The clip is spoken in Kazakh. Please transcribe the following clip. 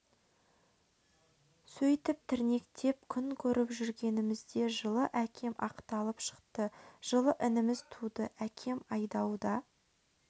сөйтіп тірнектеп күн көріп жүргенімізде жылы әкем ақталып шықты жылы ініміз туды әкем айдауда